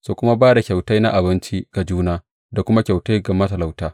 Su kuma ba da kyautai na abinci ga juna, da kuma kyautai ga matalauta.